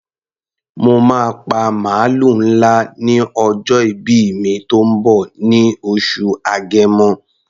Mo máa pa màlúù ńlá ní ọjọ́ ìbí mi tó ń bọ̀ ní oṣù Agẹmọ.